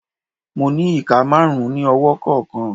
Mo ni ika marun ni ọwọ kọọkan